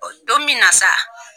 Don minna sa